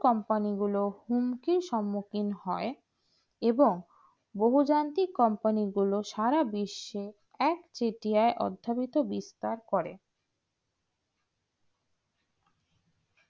compani গুলো হুমকি সমুখী হয় এবং বহু যান্তিক company গুলো সারা বিশ্বর এক চেটিয়া অধ্যবিত বিস্তার করে